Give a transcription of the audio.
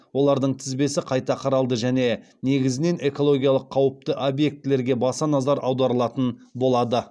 олардың тізбесі қайта қаралды және негізінен экологиялық қауіпті объектілерге баса назар аударылатын болады